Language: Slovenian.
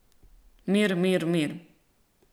Mir, mir, mir.